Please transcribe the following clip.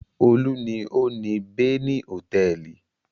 Olú ni ó ni Beni Hòtẹ́ẹ́lì.